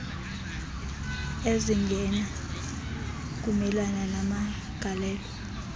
ezingena kumelana namagalelo